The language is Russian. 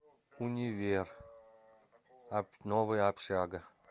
универ новая общага